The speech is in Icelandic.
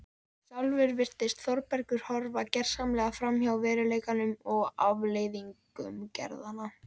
Sjálfur virðist Þórbergur horfa gersamlega framhjá veruleikanum og afleiðingum gerðanna.